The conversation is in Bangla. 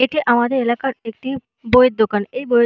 এটা আমাদের এলাকার একটি বইয়ের দোকান এই বইয়ের--